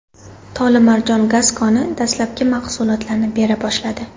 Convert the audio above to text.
Tolimarjon gaz koni dastlabki mahsulotini bera boshladi.